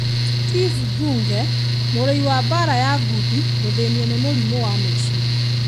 Steve Thunge: Mũrũi wa mbara ya ngundi gũthĩnio nĩ mũrimũ wa meciria.